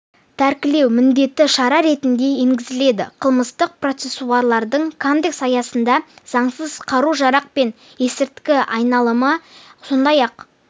тәркілеу міндетті шара ретінде енгізіледі қылмыстық процессуалдық кодекс аясында заңсыз қару-жарақ пен есірткі айналымы сондай-ақ